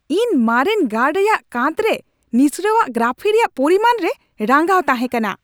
ᱤᱧ ᱢᱟᱨᱮᱱ ᱜᱟᱲ ᱨᱮᱭᱟᱜ ᱠᱟᱸᱛᱨᱮ ᱱᱤᱥᱲᱟᱟᱹᱣ ᱜᱨᱟᱯᱷᱤ ᱨᱮᱭᱟᱜ ᱯᱚᱨᱤᱢᱟᱱ ᱨᱮ ᱨᱟᱹᱜᱟᱣ ᱛᱟᱦᱮᱸ ᱠᱟᱱᱟ ᱾